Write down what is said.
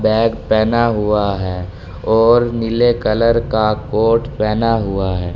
Bag पहना हुआ है और नीले कलर का कोट पहना हुआ है।